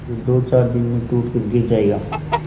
जो दोचार दिन में टूट कर गिर जाएगा